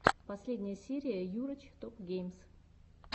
последняя серия йурач топгеймс